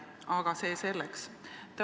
Aga see selleks.